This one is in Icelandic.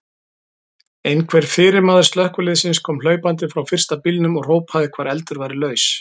Einhver fyrirmaður slökkviliðsins kom hlaupandi frá fyrsta bílnum og hrópaði hvar eldur væri laus.